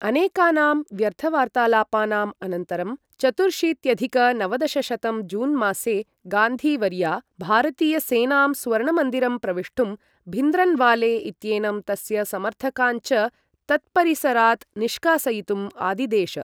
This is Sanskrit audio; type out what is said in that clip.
अनेकानां व्यर्थवार्तालापानाम् अनन्तरं, चतुर्शीत्यधिक नवदशशतं जून् मासे गान्धी वर्या भारतीयसेनां स्वर्णमन्दिरं प्रविष्टुं, भिन्द्रन्वाले इत्येनं तस्य समर्थकान् च तत्परिसरात् निष्कासयितुम् आदिदेश।